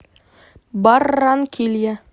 барранкилья